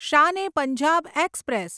Shan e Punjab express